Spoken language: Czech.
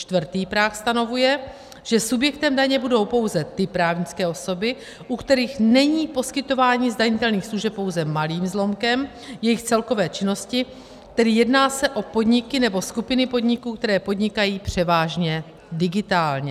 Čtvrtý práh stanovuje, že subjektem daně budou pouze ty právnické osoby, u kterých není poskytování zdanitelných služeb pouze malým zlomkem jejich celkové činnosti, tedy jedná se o podniky nebo skupiny podniků, které podnikají převážně digitálně.